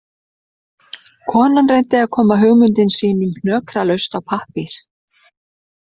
Konan reyndi að koma hugmyndum sínum hnökralaust á pappír